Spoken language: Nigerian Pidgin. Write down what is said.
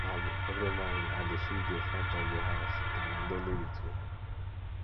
um every morning i dey sweep di front of di house na my daily routine